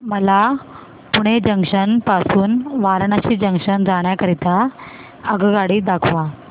मला पुणे जंक्शन पासून वाराणसी जंक्शन जाण्या करीता आगगाडी दाखवा